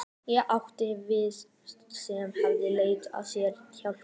Ég átti vini sem höfðu leitað sér hjálpar.